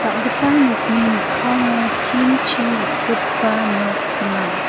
nokni mikkango tin-chi rikgipa nok gnang.